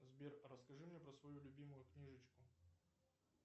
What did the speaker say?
сбер расскажи мне про свою любимую книжечку